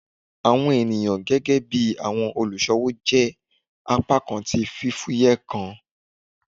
Awọn eniyan gẹgẹbi awọn oluṣowo jẹ apakan ti fifuyẹ kan